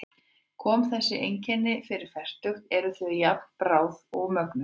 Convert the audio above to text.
Komi þessi einkenni fyrir fertugt eru þau að jafnaði bráð og mögnuð.